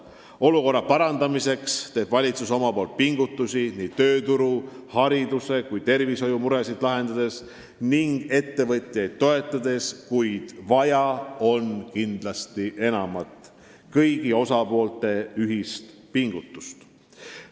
Olukorra parandamiseks teeb valitsus pingutusi nii tööturu, hariduse kui ka tervishoiu muresid lahendades ning ettevõtjaid toetades, kuid vaja on kindlasti enamat: vaja on kõigi osapoolte ühist pingutust.